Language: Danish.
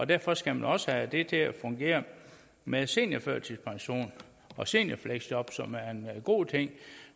derfor skal man også have det til at fungere med seniorførtidspension og seniorfleksjob som er en god ting